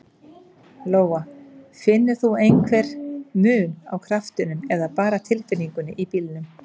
Lóa: Finnur þú einhver mun á kraftinum eða bara tilfinningunni í bílnum?